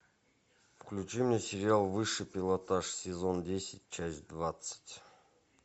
включи мне сериал высший пилотаж сезон десять часть двадцать